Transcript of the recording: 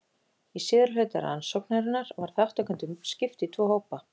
Í síðari hluta rannsóknarinnar var þátttakendum skipt í tvo hópa.